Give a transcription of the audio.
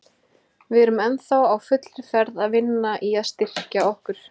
Við erum ennþá á fullri ferð að vinna í að styrkja okkur.